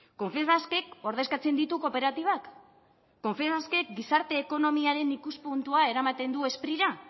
confebaskek ordezkatzen ditu kooperatibak confebaskek gizarte ekonomiaren ikuspuntua eramaten du sprira